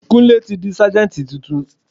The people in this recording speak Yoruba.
Kúnlé tí di Sájẹ́ntì tuntun.